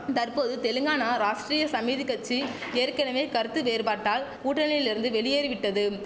தற்போது தெலுங்கானா ராஷ்டிரிய சமிதி கட்சி ஏற்கனவே கருத்து வேறுபாட்டால் கூட்டணியில் இருந்து வெளியேறி விட்டதும்